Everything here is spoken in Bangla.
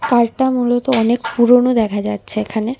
কারটা মূলত অনেক পুরোনো দেখা যাচ্ছে এখানে।